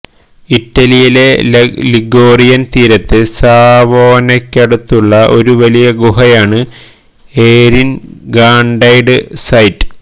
ഇറ്റലിയിലെ ലിഗോറിയൻ തീരത്ത് സാവോനയ്ക്കടുത്തുള്ള ഒരു വലിയ ഗുഹയാണ് ഏരിൻ കാണ്ടൈഡ് സൈറ്റ്